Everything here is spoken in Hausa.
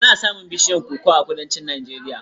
Ana samun bishiyun koko a Kudancin Najeriya.